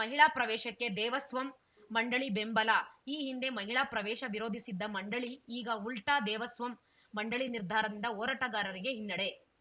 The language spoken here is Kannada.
ಮಹಿಳಾ ಪ್ರವೇಶಕ್ಕೆ ದೇವಸ್ವಂ ಮಂಡಳಿ ಬೆಂಬಲ ಈ ಹಿಂದೆ ಮಹಿಳಾ ಪ್ರವೇಶ ವಿರೋಧಿಸಿದ್ದ ಮಂಡಳಿ ಈಗ ಉಲ್ಟಾದೇವಸ್ವಂ ಮಂಡಳಿ ನಿರ್ಧಾರದಿಂದ ಹೋರಾಟಗಾರರಿಗೆ ಹಿನ್ನಡೆ